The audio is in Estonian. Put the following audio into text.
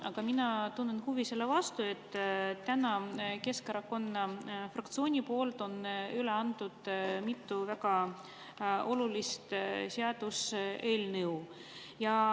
Aga mina tunnen huvi selle vastu, et täna on Keskerakonna fraktsioon üle andnud mitu väga olulist seaduseelnõu.